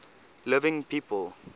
living people